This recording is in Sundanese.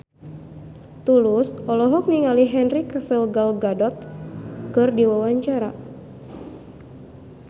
Tulus olohok ningali Henry Cavill Gal Gadot keur diwawancara